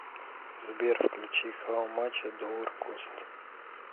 сбер включи хау мач э доллар кост